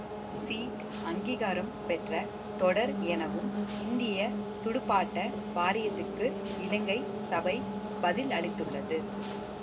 C அங்கீகாரம் பெற்ற தொடர் எனவும் இந்திய துடுப்பாட்ட வாரியத்துக்கு இலங்கை சபை பதில் அளித்துள்ளது